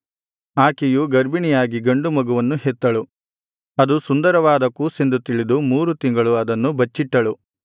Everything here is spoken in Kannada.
ಆಕೆಯು ಗರ್ಭಿಣಿಯಾಗಿ ಗಂಡು ಮಗುವನ್ನು ಹೆತ್ತಳು ಅದು ಸುಂದರವಾದ ಕೂಸೆಂದು ತಿಳಿದು ಮೂರು ತಿಂಗಳು ಅದನ್ನು ಬಚ್ಚಿಟ್ಟಳು